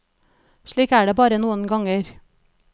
Slik er det bare noen ganger.